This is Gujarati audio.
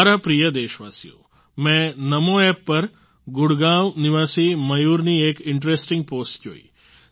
મારા પ્રિય દેશવાસીઓ મેં નમો એપ પર ગુડગાંવ નિવાસી મયૂરની એક ઇન્ટરેસ્ટિંગ પોસ્ટ જોઈ